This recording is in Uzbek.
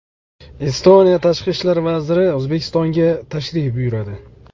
Estoniya tashqi ishlar vaziri O‘zbekistonga tashrif buyuradi.